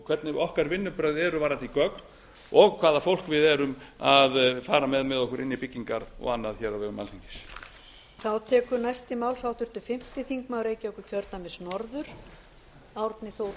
hvernig okkar vinnubrögð eru varðandi gögn og hvaða fólk við erum að fara með með okkur inn í byggingar og annað á vegum alþingis